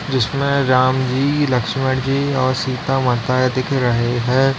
जिसमें राम जी लक्ष्मण जी और सीता माता है दिख रही हैं।